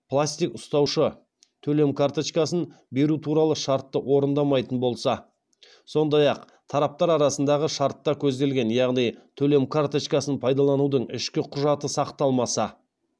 пластик ұстаушы төлем карточкасын беру туралы шартты орындамайтын болса сондай ақ тараптар арасындағы шартта көзделген яғни төлем карточкасын пайдаланудың ішкі құжаты сақталмаса